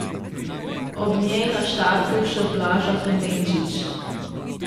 Ob njej na štartu še Blaža Klemenčič.